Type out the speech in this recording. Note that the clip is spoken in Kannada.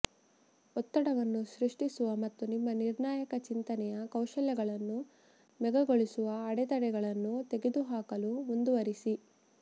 ಒತ್ತಡವನ್ನು ಸೃಷ್ಟಿಸುವ ಮತ್ತು ನಿಮ್ಮ ನಿರ್ಣಾಯಕ ಚಿಂತನೆಯ ಕೌಶಲ್ಯಗಳನ್ನು ಮೇಘಗೊಳಿಸುವ ಅಡೆತಡೆಗಳನ್ನು ತೆಗೆದುಹಾಕಲು ಮುಂದುವರಿಸಿ